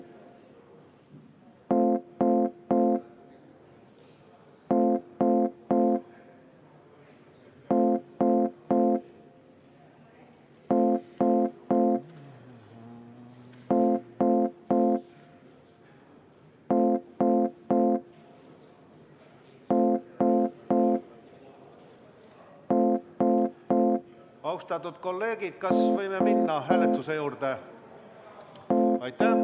Austatud kolleegid, kas võime minna hääletuse juurde?